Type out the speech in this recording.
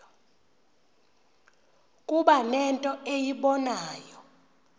kuba nento eyibonayo